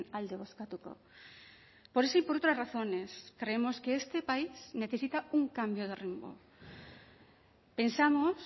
alde bozkatuko por eso y por otras razones creemos que este país necesita un cambio de rumbo pensamos